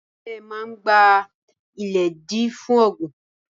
Ahule maa gba-iledi fun ogbin.